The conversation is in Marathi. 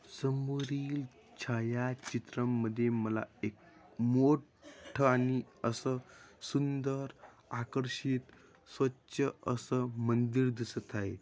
समोरील छायाचित्रमध्ये मला एक मोट्ठ आणि असं सुंदर आकर्षित स्वच्छ असं मंदिर दिसत आहे.